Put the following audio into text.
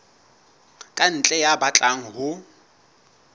ka ntle ya batlang ho